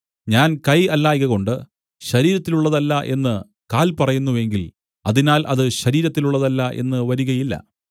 ഞാൻ കൈ അല്ലായ്കകൊണ്ട് ശരീരത്തിലുള്ളതല്ല എന്ന് കാൽ പറയുന്നു എങ്കിൽ അതിനാൽ അത് ശരീരത്തിലുള്ളതല്ല എന്ന് വരികയില്ല